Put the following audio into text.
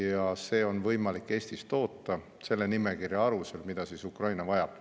Eestis on võimalik toota selle nimekirja alusel seda, mida Ukraina vajab.